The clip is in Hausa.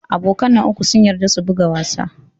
Abokan nan uku sun yarda su buga wasa.